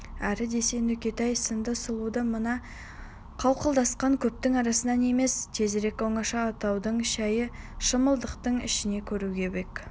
әрі десе нүкетай сынды сұлуды мына қауқылдасқан көптің арасынан емес тезірек оңаша отаудың шәйі шымылдықтың ішінен көруге бек